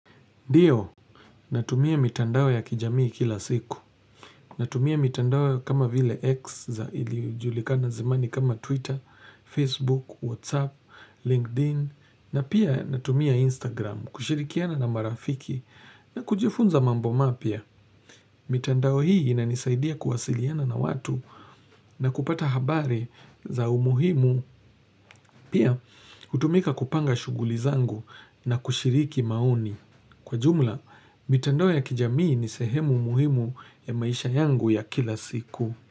NDio, natumia mitandao ya kijamii kila siku, natumia mitandao kama vile x za ilijulikana zamani kama twitter, facebook, whatsapp, linkedin, na pia natumia instagram, kushirikiana na marafiki, na kujifunza mambo mapya, mitandao hii inanisaidia kuwasiliana na watu, na kupata habari za umuhimu, pia utumika kupanga shughuli zangu na kushiriki maoni. Kwa jumla, mitandao ya kijamii ni sehemu muhimu ya maisha yangu ya kila siku.